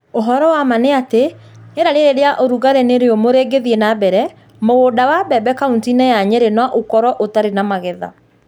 Ũhoro wa ma nĩ atĩ, rĩera rĩrĩ rĩa ũrugarĩ na rĩũmũ rĩngĩthiĩ na mbere, mũgũnda wa mbembe kauntĩ-inĩ ya Nyeri no ũkorũo ũtarĩ na magetha.